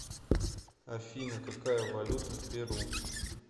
афина какая валюта в перу